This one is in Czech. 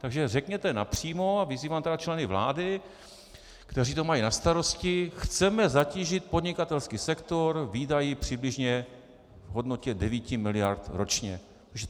Takže řekněte napřímo - a vyzývám tedy členy vlády, kteří to mají na starosti - chceme zatížit podnikatelský sektor výdaji přibližně v hodnotě 9 miliard ročně.